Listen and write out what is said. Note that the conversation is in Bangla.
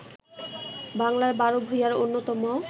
বাংলার বার ভূঁইঞার অন্যতম